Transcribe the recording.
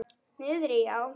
Niðri já.